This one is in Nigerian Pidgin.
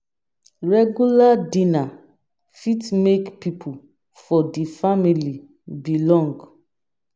regular dinner fit make people for the family belong